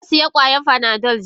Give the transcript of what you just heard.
Nasiya kwayan Panado jiya.